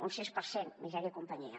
un sis per cent misèria i companyia